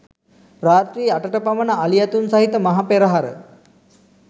රාත්‍රී අටට පමණ අලි ඇතුන් සහිත මහ පෙරහර